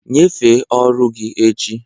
Nyefee ọrụ gị echi!